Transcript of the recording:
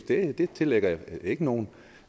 det tillægger jeg ikke nogen